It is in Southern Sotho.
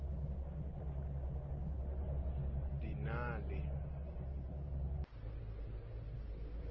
di na le c ka